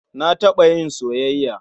Na taɓa yin soyayya.